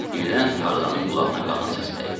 Birdən Tarzanın qulağına qadın səsi dəydi.